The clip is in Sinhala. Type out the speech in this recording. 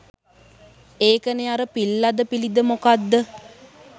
එකනේ අර පිල්ලද පිලිද මොකක්ද